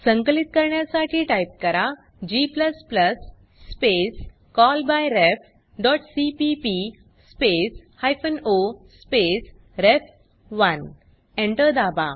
संकलित करण्यासाठी टाइप करा g स्पेस callbyrefसीपीपी स्पेस हायफेन ओ स्पेस रेफ1 Enter दाबा